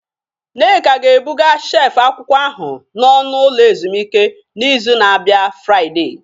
Nneka ga-ebuga shelf akwụkwọ ahụ n'ọnụ ụlọ ezumike n'izu na-abịa Fridee